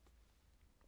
TV 2